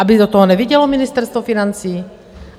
Aby do toho nevidělo Ministerstvo financí?